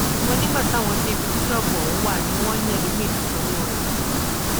ṣùgbọn nígbà táwọn dé ibi tí ṣọọbù ọhún wà wọn ni ẹlòmíín ti sanwó rẹ